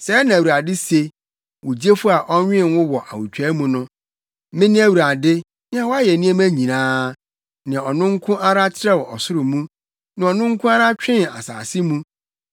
“Sɛɛ na Awurade se, wo Gyefo a ɔnwen wo wɔ awotwaa mu no: “Mene Awurade, nea wayɛ nneɛma nyinaa, nea ɔno nko ara trɛw ɔsoro mu nea ɔno nko ara twee asase mu,